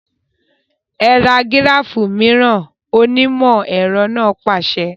Ẹ ra gíráfù mìíràn! onímọ̀ ẹ̀rọ náà pàṣẹ.